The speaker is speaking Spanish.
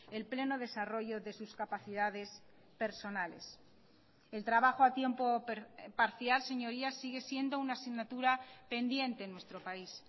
el pleno desarrollo de sus capacidades personales el trabajo a tiempo parcial señorías sigue siendo una asignatura pendiente en nuestro país